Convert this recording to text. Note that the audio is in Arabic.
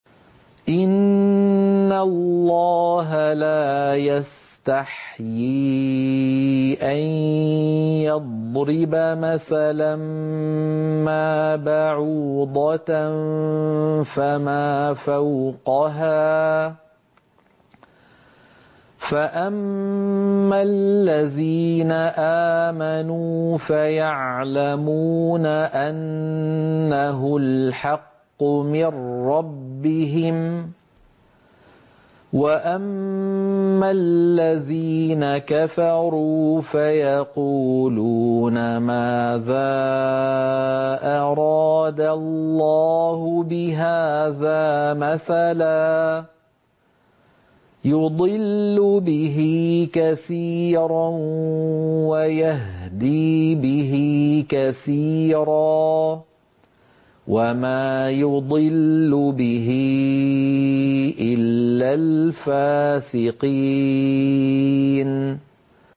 ۞ إِنَّ اللَّهَ لَا يَسْتَحْيِي أَن يَضْرِبَ مَثَلًا مَّا بَعُوضَةً فَمَا فَوْقَهَا ۚ فَأَمَّا الَّذِينَ آمَنُوا فَيَعْلَمُونَ أَنَّهُ الْحَقُّ مِن رَّبِّهِمْ ۖ وَأَمَّا الَّذِينَ كَفَرُوا فَيَقُولُونَ مَاذَا أَرَادَ اللَّهُ بِهَٰذَا مَثَلًا ۘ يُضِلُّ بِهِ كَثِيرًا وَيَهْدِي بِهِ كَثِيرًا ۚ وَمَا يُضِلُّ بِهِ إِلَّا الْفَاسِقِينَ